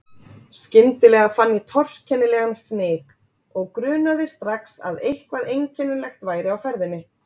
Skyndilega fann ég torkennilegan fnyk og grunaði strax að eitthvað einkennilegt væri á ferðinni.